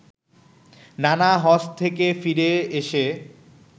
নানা হজ্ব থেকে ফিরে এসে